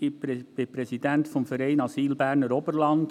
Ich bin Präsident des Vereins Asyl Berner Oberland.